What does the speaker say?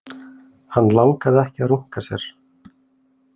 Hann langaði ekki að runka sér.